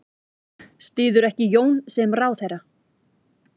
Styður ekki Jón sem ráðherra